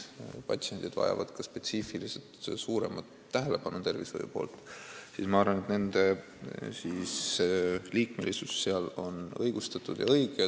Kuna need patsiendid vajavad ka tervishoiuspetsiifiliselt suuremat tähelepanu, siis ma arvan, et nende liikmesus seal on õigustatud ja õige.